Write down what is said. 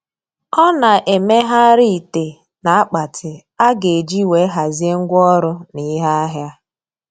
Ọ na-emegharị ite na akpati a ga-eji wee hazie ngwa ọrụ na ihe ahịa.